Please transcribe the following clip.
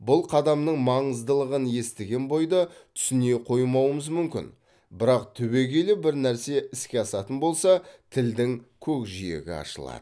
бұл қадамның маңыздылығын естіген бойда түсіне қоймауымыз мүмкін бірақ түбегейлі бір нәрсе іске асатын болса тілдің көкжиегі ашылады